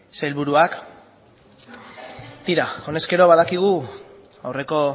sailburuak tira honezkero badakigu aurreko